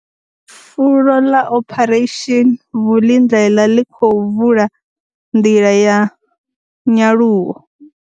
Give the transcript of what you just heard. Fulo ḽa Operation Vulindlela ḽi khou vula nḓila ya nyaluwo.